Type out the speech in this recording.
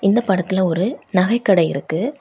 இந்த படத்துல ஒரு நகைக்கடை இருக்கு.